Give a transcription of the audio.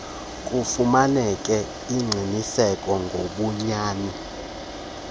kufumaneke ingqiniseko ngobunyani